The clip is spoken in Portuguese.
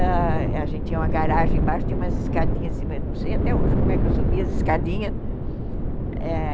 Ãh, a gente tinha uma garagem embaixo, tinha umas escadinhas assim, mas não sei até hoje como é que eu subia as escadinhas.